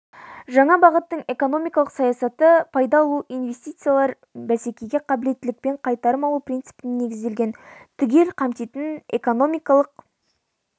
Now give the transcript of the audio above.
жаңа бағыттың экономикалық саясаты пайда алу инвестициялар мен бәсекеге қабілеттіліктен қайтарым алу принципіне негізделген түгел қамтитын экономикалық